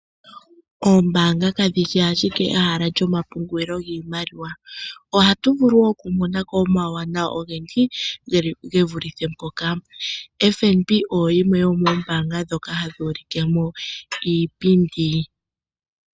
Oombaanga kadhishi ashike ehala lyomapungulilo giimaliwa. Ohatu vulu okumona ko omauwanawa ogendji ge vulithe mpoka. FNB oyo yimwe yomoombaanga ndhoka hayi ulike mo iipindi.